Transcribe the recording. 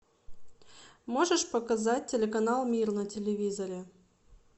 можешь показать телеканал мир на телевизоре